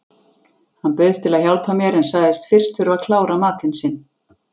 Hann bauðst til að hjálpa mér en sagðist fyrst þurfa að klára matinn sinn.